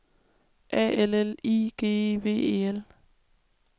A L L I G E V E L